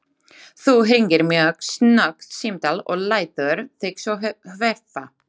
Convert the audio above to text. Þú hringir mjög snöggt símtal og lætur þig svo hverfa.